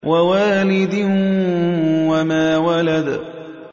وَوَالِدٍ وَمَا وَلَدَ